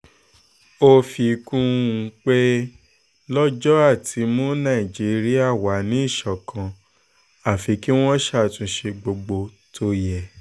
ó fi kún un pé lọ́jọ́ àti mú nàìjíríà wà ní ìṣọ̀kan àfi kí wọ́n ṣàtúnṣe gbogbo tó yẹ